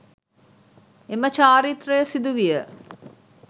එම චාරිත්‍රය සිදු විය